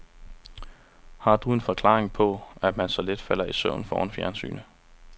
Har du en forklaring på, at man så let falder i søvn foran fjernsynet.